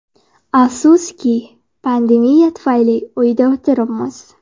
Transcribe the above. Afsuski, pandemiya tufayli uyda o‘tiribmiz.